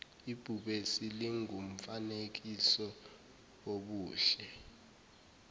ibhubesi lingumfanekiso wobuhle